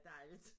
Dejligt